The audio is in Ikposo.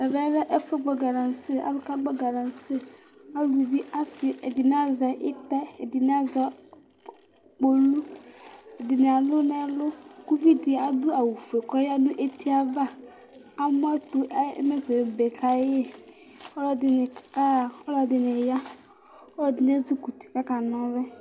Ɛmɛlɛ ɛfɛ gbɔ galase alʋ kagbɔ galase ɔsi ɛdini azɛ itɛ ɛdini alʋ kpolʋ ɛdini alʋ nʋ ɛlʋ kʋ ʋvidi adʋ awʋfue kʋ ayanʋ eti ava amʋɛtʋ ɛmɛkʋ ebe kayi alʋ ɛdini yaxa alʋɛdini ya alʋ edini ezikʋti kʋ aka na ɔlʋ